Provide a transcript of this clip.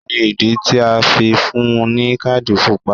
Kí ni ìdí tí a fi fún un ní káàdì Pupa?